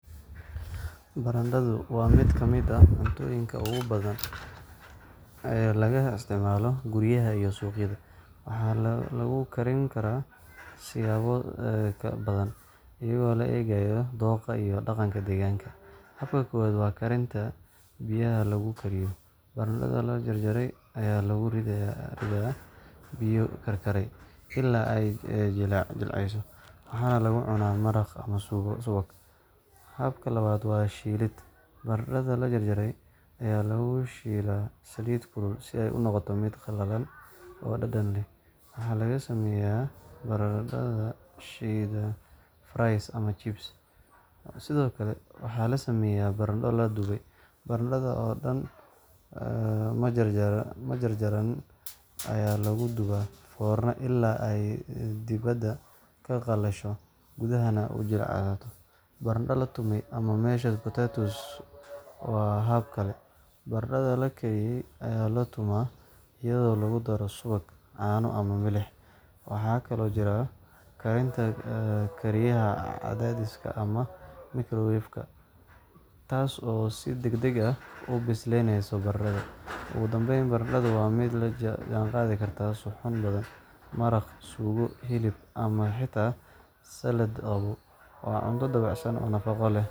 Baradhadu waa mid ka mid ah cuntooyinka ugu badan ee laga isticmaalo guryaha iyo suuqyada, waxaana lagu karin karaa siyaabo badan, iyadoo loo eegayo dookha iyo dhaqanka deegaanka. Habka koowaad waa karinta biyaha lagu kariyo – baradhada la jarjaray ayaa lagu ridaa biyo karkaraya ilaa ay jilcayso, waxaana lagu cunaa maraq ama subag. Habka labaad waa shiilid – baradhada la jarjaray ayaa lagu shiilaa saliid kulul si ay u noqoto mid qallalan oo dhadhan leh. Waxaa laga sameeyaa baradhada shiidan (fries) ama chips. Sidoo kale, waxaa la sameeyaa baradho la dubay – baradhada oo dhan ama jarjaran ayaa lagu dubaa foornada ilaa ay dibadda ka qallasho gudaha na uu jilco. Baradhada la tumay ama mashed potatoes waa hab kale – baradhada la kariyay ayaa la tumaa iyadoo lagu daro subag, caano, ama milix. Waxaa kaloo jira karinta kariyaha cadaadiska ama microwave-ka, taas oo si degdeg ah u bisleynaysa baradhada. Ugu dambayn, baradhadu waa mid la jaanqaadi karta suxuun badan: maraq, suugo, hilib, ama xitaa salad qabow. Waa cunto dabacsan oo nafaqo leh